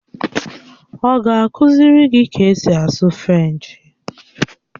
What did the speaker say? Ọ ga-akụziri gị ka esi asụ Frenchi?